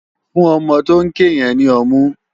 Fún òmò tó n ké yèn ni òmú